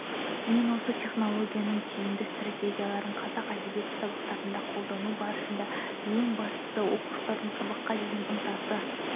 мен осы технологияның тиімді стратегияларын қазақ әдебиеті сабақтарында қолдану барысында ең бастысы оқушылардың сабаққа деген ынтасы